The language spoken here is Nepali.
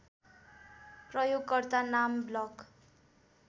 प्रयोगकर्ता नाम ब्लक